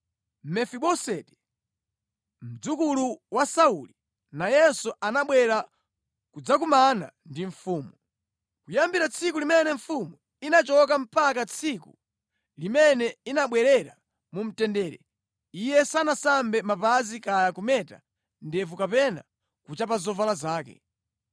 Mefiboseti, mdzukulu wa Sauli, nayenso anabwera kudzakumana ndi mfumu. Kuyambira tsiku limene mfumu inachoka mpaka tsiku limene inabwerera mu mtendere, iye sanasambe mapazi kaya kumeta ndevu kapena kuchapa zovala zake.